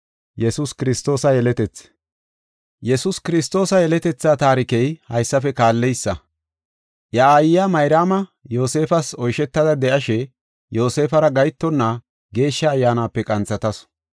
Yesuus Kiristoosa yeletethaa taarikey haysafe kaalleysa. Iya aayiya Mayraama Yoosefas oysheta de7ashe Yoosefara gahetonna Geeshsha Ayyaanape qanthatasu.